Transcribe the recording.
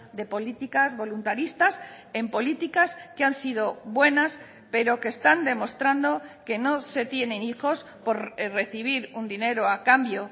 de políticas voluntaristas en políticas que han sido buenas pero que están demostrando que no se tienen hijos por recibir un dinero a cambio